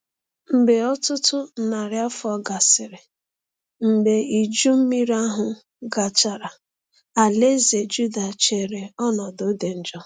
Mgbe ọtụtụ narị afọ gasịrị mgbe Iju Mmiri ahụ gachara, alaeze Juda chere ọnọdụ dị njọ.